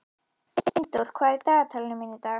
Steindór, hvað er í dagatalinu í dag?